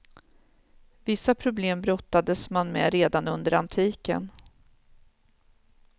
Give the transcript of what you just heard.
Vissa problem brottades man med redan under antiken.